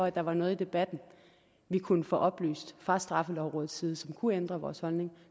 at der var noget i debatten vi kunne få oplyst fra straffelovrådets side som kunne ændre vores holdning